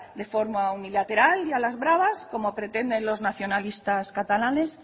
de forma unilateral y a las bravas como pretenden los nacionalistas catalanes